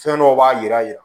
Fɛn dɔw b'a yira